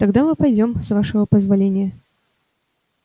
тогда мы пойдём с вашего позволения